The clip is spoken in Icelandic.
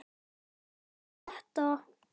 Ekki þetta.